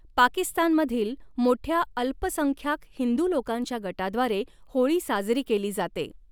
पाकिस्तानमधील मोठ्या अल्पसंख्याक हिंदू लोकांच्या गटाद्वारे होळी साजरी केली जाते.